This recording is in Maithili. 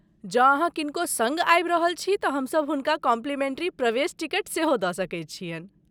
जँ अहाँ किनको सङ्ग आबि रहल छी तऽ हमसभ हुनका कॉम्पलिमेंटरी प्रवेश टिकट सेहो दऽ सकैत छियनि ।